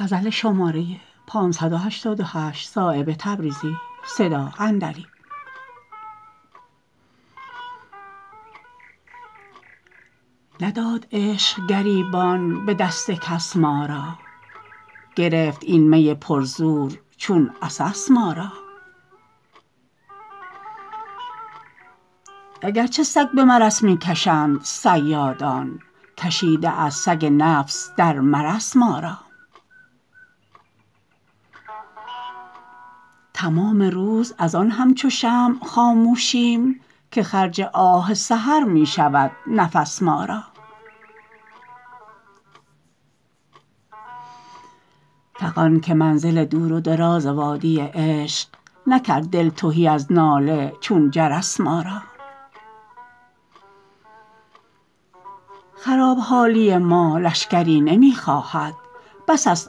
نداد عشق گریبان به دست کس ما را گرفت این می پر زور چون عسس ما را اگر چه سگ به مرس می کشند صیادان کشیده است سگ نفس در مرس ما را تمام روز ازان همچو شمع خاموشیم که خرج آه سحر می شود نفس ما را فغان که منزل دور و دراز وادی عشق نکرد دل تهی از ناله چون جرس ما را خراب حالی ما لشکری نمی خواهد بس است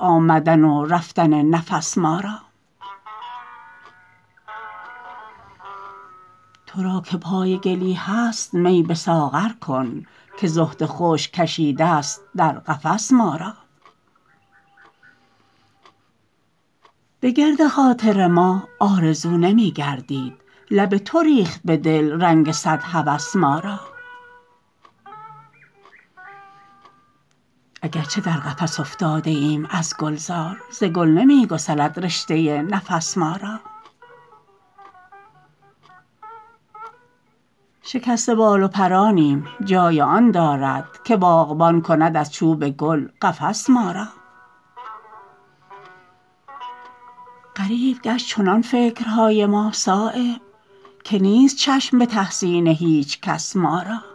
آمدن و رفتن نفس ما را ترا که پای گلی هست می به ساغر کن که زهد خشک کشیده است در قفس ما را به گرد خاطر ما آرزو نمی گردید لب تو ریخت به دل رنگ صد هوس ما را اگر چه در قفس افتاده ایم از گلزار ز گل نمی گسلد رشته نفس ما را شکسته بال و پرانیم جای آن دارد که باغبان کند از چوب گل قفس ما را غریب گشت چنان فکرهای ما صایب که نیست چشم به تحسین هیچ کس ما را